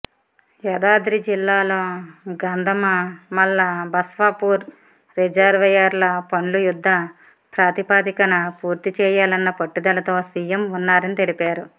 యాదాద్రి జిల్లాలో గంధమమల్ల బస్వాపూర్ రిజర్వాయర్ల పనులు యుద్ధ ప్రాతిపదికన పూర్తి చేయాలన్న పట్టుదలతో సిఎం ఉన్నారని తెలిపారు